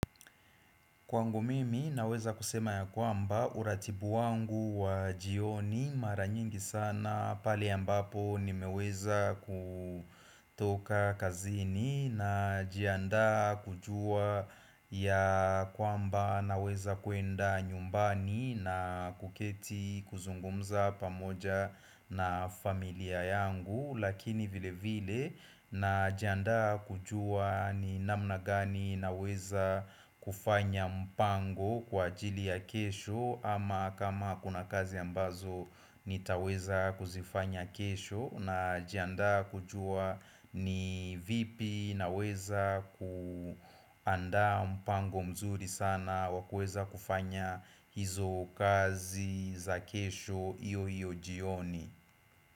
Kwangu mimi naweza kusema ya kwamba uratibu wangu wa jioni maranyingi sana pale ambapo nimeweza kutoka kazini na jiandaa kujua ya kwamba naweza kuenda nyumbani na kuketi kuzungumza pamoja na familia yangu Lakini vile vile na jiandaa kujua ni namna gani naweza kufanya mpango kwa ajili ya kesho ama kama kuna kazi ambazo nitaweza kuzifanya kesho na jiandaa kujua ni vipi naweza kuandaa mpango mzuri sana wakuweza kufanya hizo kazi za kesho hiyo hiyo jioni.